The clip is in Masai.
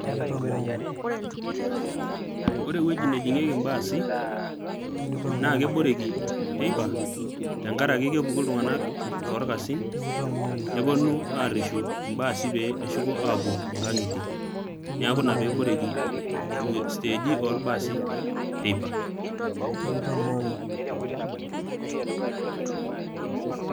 Ore ewueji nejingieki imbasi na keboreki teipa tenkaraki kepuku ilntung'anak too orkasin neponu areshu irbasi peepuo nkang'itie teipa. neaku inaa peboreki stage olbasi teipa